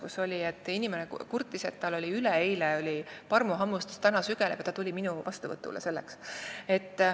Üks inimene kurtis oma üleeilse parmuhammustuse üle, mis täna sügeles, ja ta tuli minu vastuvõtule.